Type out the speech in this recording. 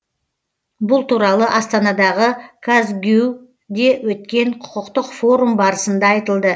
бұл туралы астанадағы казгюу де өткен құқықтық форум барысында айтылды